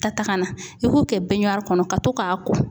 Ka ta ka na , i b'o kɛ binɲiwaari kɔnɔ ka to k'a ko.